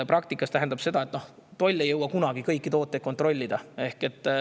Praktikas tähendab see seda, et toll ei jõua kunagi kõiki tooteid kontrollida.